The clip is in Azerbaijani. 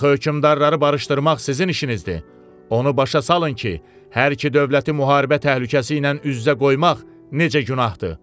Axı hökmdarları barışdırmaq sizin işinizdir, onu başa salın ki, hər iki dövləti müharibə təhlükəsi ilə üz-üzə qoymaq necə günahdır.